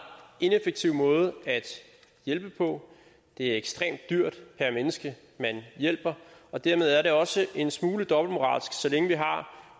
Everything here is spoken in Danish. ineffektiv måde at hjælpe på det er ekstremt dyrt per menneske man hjælper og dermed er det også en smule dobbeltmoralsk så længe vi har